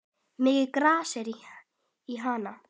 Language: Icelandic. Mikið gras er í Hana.